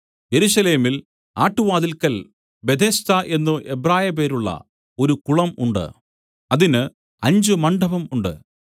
യെരൂശലേമിൽ ആട്ടുവാതില്ക്കൽ ബേഥെസ്ദാ എന്നു എബ്രായപേരുള്ള ഒരു കുളം ഉണ്ട് അതിന് അഞ്ച് മണ്ഡപം ഉണ്ട്